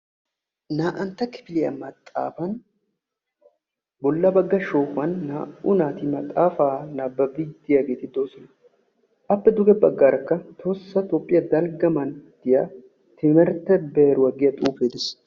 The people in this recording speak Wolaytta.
naa"antta kifiliya maxxafanni bolla baga shoohuwanni naa"u naati maxxaffa nababidi de"iyagetti dossona appe duge bagarakka tohossa toophiya dalga mantiyaa timirte beeruwa yagiyaa xuufe deessi.